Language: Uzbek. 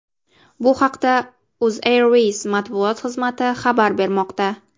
Bu haqda Uzairways matbuot xizmati xabar bermoqda .